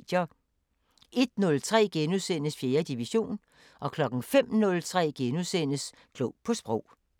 01:03: 4. division * 05:03: Klog på Sprog *